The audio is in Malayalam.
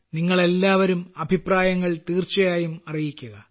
നിങ്ങളെല്ലാവരും അഭിപ്രായങ്ങൾ തീർച്ചയായും അറിയിക്കുക